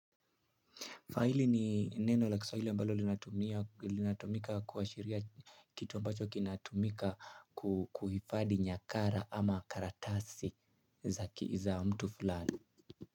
Faili ni neno la kiswahili ambalo linatumika kuashiria kitu ambacho kinatumika kuhifadhi nyakara ama karatasi za mtu fulani.